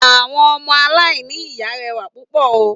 Àwọn ọmọ aláìní ìyá rẹwà púpò o